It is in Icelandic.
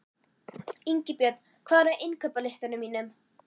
Ingibjörn, hvað er á innkaupalistanum mínum?